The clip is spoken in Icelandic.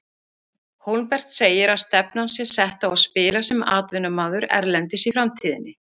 Hólmbert segir að stefnan sé sett á að spila sem atvinnumaður erlendis í framtíðinni.